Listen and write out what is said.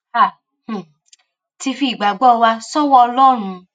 a um ti fi ìgbàgbọ wa sọwọ ọlọrun